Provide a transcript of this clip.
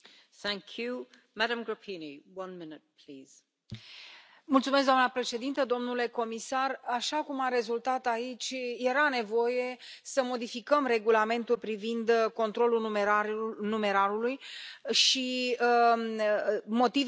Doamna președintă, domnule comisar, așa cum a rezultat aici, era nevoie să modificăm regulamentul privind controlul numerarului și motivele au fost bine expuse și de către Comisie, în propunerea Comisiei, și de către